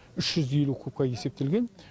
үш жүз елу кубқа есептелген